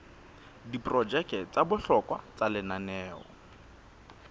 diprojeke tsa bohlokwa tsa lenaneo